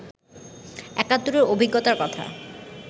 একাত্তরের অভিজ্ঞতার কথা